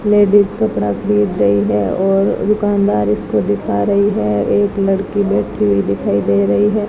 Ladies कपड़ा खरीद रही है और दुकानदार इसको दिखा रही है एक लड़की बैठी हुई दिखाई दे रही है।